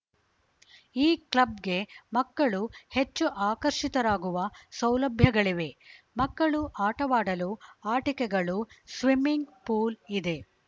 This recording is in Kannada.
ಈ ಕ್ಲಬ್‌ಗೆ ಮಕ್ಕಳು ಹೆಚ್ಚು ಆಕರ್ಶಿತರಾಗುವ ಸೌಲಭ್ಯಗಳಿವೆ ಮಕ್ಕಳು ಆಟವಾಡಲು ಆಟಿಕೆಗಳು ಸ್ವಿಮ್ಮಿಂಗ್‌ ಪೂಲ್‌ ಇದೆ